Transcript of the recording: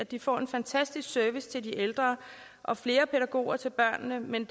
at de får en fantastisk service til de ældre og flere pædagoger til børnene men